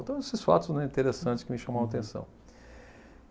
Então, esses fatos, né, interessantes que me chamam a atenção.